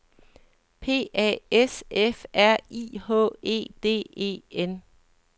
P A S F R I H E D E N